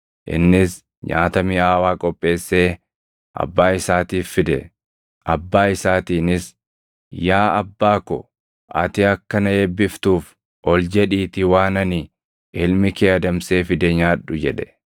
Innis nyaata miʼaawaa qopheessee abbaa isaatiif fide; abbaa isaatiinis, “Yaa abbaa ko, ati akka na eebbiftuuf ol jedhiitii waan ani ilmi kee adamsee fide nyaadhu” jedhe.